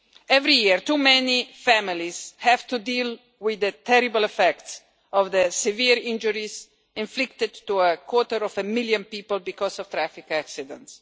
Every year too many families have to deal with the terrible effects of the severe injuries inflicted to a quarter of a million people because of traffic accidents.